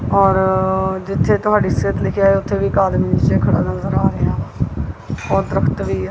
ਔਰ ਜਿੱਥੇ ਤੁਹਾਡੀ ਸੇਹਤ ਲਿਖੇਆ ਹੈ ਉੱਥੇ ਵੀ ਇੱਕ ਆਦਮੀ ਨਿੱਚੇ ਖੜਾ ਨਜ਼ਰ ਆ ਰਿਹਾ ਵਾ ਔਰ ਦਰੱਖਤ ਵੀ ਹੈ।